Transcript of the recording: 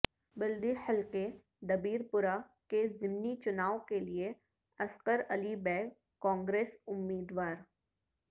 بلدی حلقے دبیر پورہ کے ضمنی چنائو کیلئے عسکر علی بیگ کانگریس امیدوار